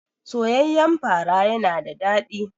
Soyayyan fara yana da daɗi.